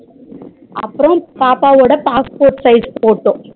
அப்பறம் பாப்பாவோட passport size photo